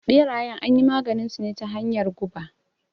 Ɓerayen anyi maganinsu ne ta hanyar guba.